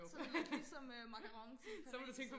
Sådan lidt ligesom macarons i Paris